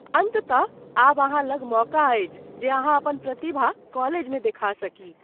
अन्ततः आब अहाँ लग मौका अछि जे अहाँ अपन प्रतिभा कॉलेजमे देखा सकी।